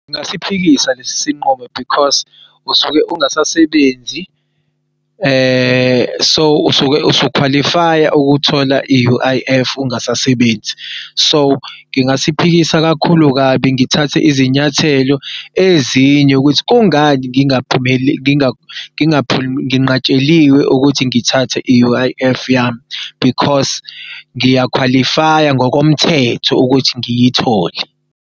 Ngasiphikisa lesi sinqumo because usuke ungasasebenzi so usuke usukhwalifaya ukuthola i-U_I_F ungasasebenzi so ngingasiphikisa kakhulu kabi ngithatha izinyathelo ezinye ukuthi kungani nginqatsheliwe ukuthi ngithathe i-U_I_F yami because ngiyakhwalifaya ngokomthetho ukuthi ngiyithole.